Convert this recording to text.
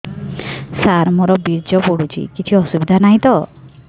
ସାର ମୋର ବୀର୍ଯ୍ୟ ପଡୁଛି କିଛି ଅସୁବିଧା ନାହିଁ ତ